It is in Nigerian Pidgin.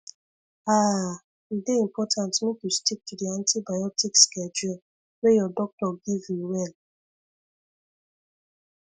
ahhhe dey important make you stick to the antibiotic schedule wey your doctor give you well